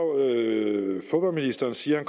siger at